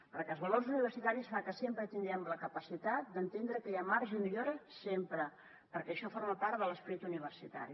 perquè els valors universitaris fan que tinguem la capacitat d’entendre que hi ha marge de millora sempre perquè això forma part de l’esperit universitari